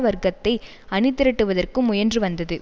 வர்க்கத்தை அணிதிரட்டுவதற்கும் முயன்று வந்தது